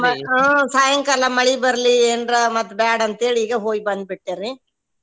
ಹ್ಮ್ ಸಾಯಂಕಾಲ ಮಳಿ ಬರ್ಲಿ ಏನ್ರ ಮತ್ತ್ ಬ್ಯಾಡ ಅಂತ ಹೇಳಿ ಈಗ ಹೋಗಿ ಬಂದ್ ಬಿಟ್ಟೆರಿ.